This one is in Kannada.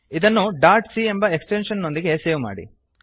ಇದನ್ನು ಡಾಟ್ ಸಿ ಎಂಬ ಎಕ್ಸ್ಟೆಂಶನ್ ನೊಂದಿಗೆ ಸೇವ್ ಮಾಡಿ